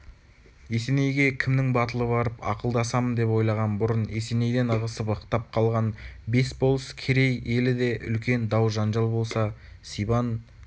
есенейге кімнің батылы барып ақылдасам деп ойлаған бұрын есенейден ығысып-ықтап қалған бес болыс керей елі де үлкен дау-жанжал болса сибан